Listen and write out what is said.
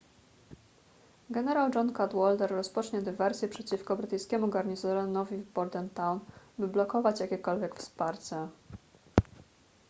generał john cadwalder rozpocznie dywersję przeciwko brytyjskiemu garnizonowi w bordentown by blokować jakiekolwiek wsparcie